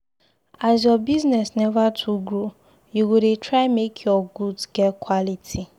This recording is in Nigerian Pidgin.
As your business neva too grow, you go dey try make your goods get quality.